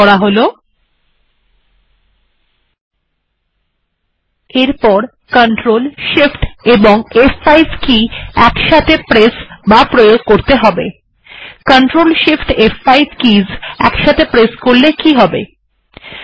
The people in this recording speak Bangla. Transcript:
CTRL SHIFT এবং ফ5 কে একসাথে প্রয়োগ করলে কি হবে160